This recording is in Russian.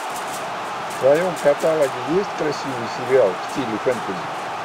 в твоем каталоге есть красивый сериал в стиле фэнтези